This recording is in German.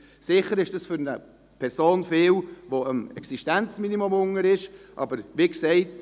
Sicher ist das viel für eine Person, die unten am Existenzminimum ist, aber wie gesagt: